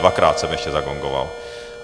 Dvakrát jsem ještě zagongoval.